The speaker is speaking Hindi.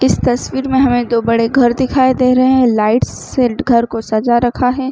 इस तस्वीर में हमें दो बड़े घर दिखाई दे रहे है लाइट्स से घर को सजा रखा है।